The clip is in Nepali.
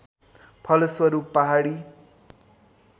फलस्वरूप पहाडी